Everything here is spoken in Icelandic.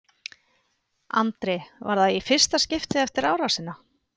Andri: Var það í fyrsta skiptið eftir árásina?